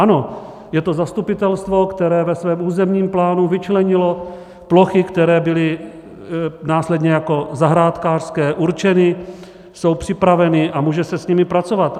Ano, je to zastupitelstvo, které ve svém územním plánu vyčlenilo plochy, které byly následně jako zahrádkářské určeny, jsou připraveny a může se s nimi pracovat.